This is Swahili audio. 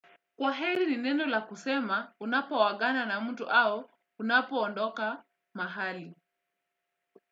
Kwaheri ni neno la kusema unapoagana na mtu au unapo ondoka mahali.